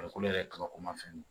Farikolo yɛrɛ kabako ma fɛn